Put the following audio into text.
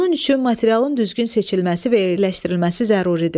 Bunun üçün materialın düzgün seçilməsi və yerləşdirilməsi zəruridir.